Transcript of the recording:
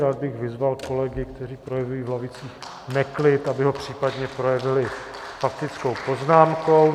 Rád bych vyzval kolegy, kteří projevili v lavicích neklid, aby ho případně projevili faktickou poznámkou.